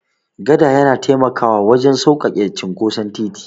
Gada yana taimakawa wurin sauƙaƙe cinkoson titi.